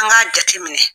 An k'a jate minɛ